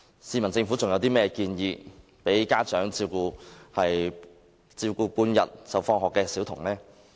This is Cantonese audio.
試問政府還有甚麼建議讓家長可以照顧下午放學的小童？